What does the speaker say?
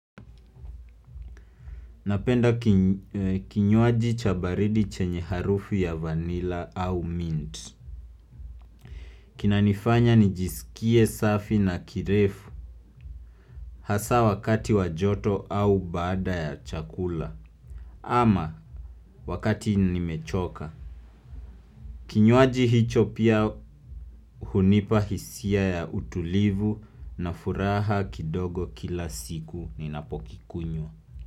Napenda kinywaji cha baridi chenye harufu ya vanilla au mint. Kinanifanya nijisikie safi na kirefu hasa wakati wa joto au baada ya chakula ama wakati nimechoka. Kinywaji hicho pia hunipa hisia ya utulivu na furaha kidogo kila siku ninapokikunywa.